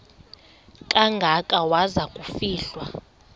kangaka waza kufihlwa